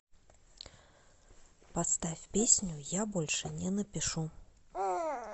поставь песню я больше не напишу